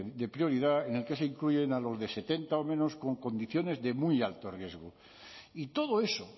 de prioridad en el que se incluyen a los de setenta o menos con condiciones de muy alto riesgo y todo eso